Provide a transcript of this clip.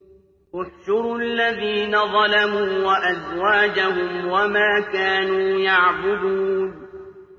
۞ احْشُرُوا الَّذِينَ ظَلَمُوا وَأَزْوَاجَهُمْ وَمَا كَانُوا يَعْبُدُونَ